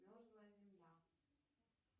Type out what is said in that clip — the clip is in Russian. мерзлая земля